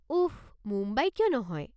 উফ, মুম্বাই কিয় নহয়?